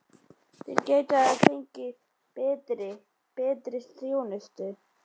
Þeir gætu ekki hafa fengið betri. betri þjónustu.